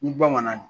Ni bamanan